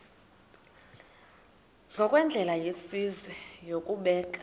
ngokwendlela yesizwe yokubeka